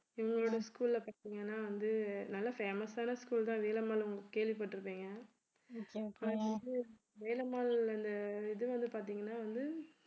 இவங்களோட school ல பார்த்தீங்கன்னா வந்து நல்ல famous ஆன school தான் வேலம்மாள் கேள்விப்பட்டிருப்பீங்க வேலம்மாள்ல இந்த இது வந்து பார்த்தீங்கன்னா வந்து